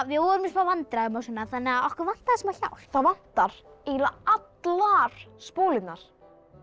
við vorum í smá vandræðum okkur vantaði smá hjálp það vantar eiginlega allar spólurnar